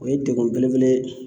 O ye degun belebele ye